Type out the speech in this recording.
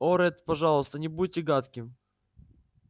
о ретт пожалуйста не будьте гадким